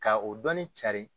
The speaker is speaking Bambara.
K' o dɔɔni carin.